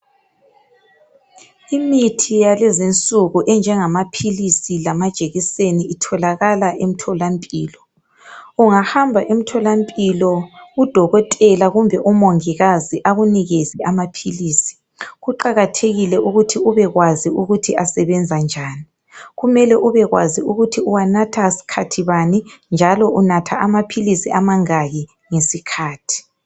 Imithi yalezi insuku enjengamaphilisi lamajekiseni itholakala emtholampilo. Ungahamba emtholampilo udokotela kumbe umongikazi akunikeze amaphilisi kuqakathekile ukuthi ubekwazi ukuthi asebenza njani. Kumele ukuthi ubekwazi ukuthi uwanatha skhathi bani njalo ubekwazi ukuthi unatha amaphilisi amangaki ngesikhathi.